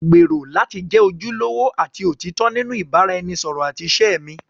Mo gbèrò láti jẹ́ ojúlówó àti òtítọ́ nínú ìbáraẹnisọ̀rọ̀ àti ìṣe mi.